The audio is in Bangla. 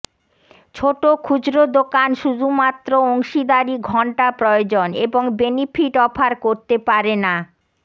ছোট খুচরো দোকান শুধুমাত্র অংশীদারি ঘন্টা প্রয়োজন এবং বেনিফিট অফার করতে পারে না